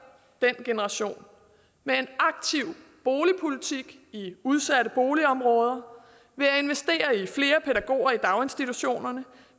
den generation med en aktiv boligpolitik i udsatte boligområder ved at investere i flere pædagoger i daginstitutionerne